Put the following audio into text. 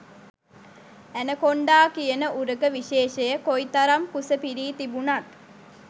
anaconda කියන උරග විශේෂය කොයි තරම් කුස පිරී තිබුණත්